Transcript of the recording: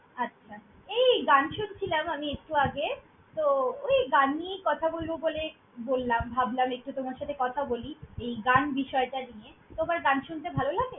আচ্ছা, এই গান শুনছিলাম আমি একটু আগে তো ওই গান নিয়েই কথা বলব বলে বললাম, ভাবলাম একটু তোমার সাথে কথা বলি এই গান বিষয়টা নিয়ে, তোমার গান শুনতে ভাল লাগে?